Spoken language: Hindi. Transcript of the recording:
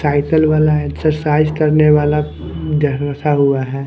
टाइटल वाला एक्सरसाइज करने वाला रखा हुआ है।